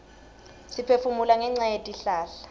siphefumula ngenca yetihlahla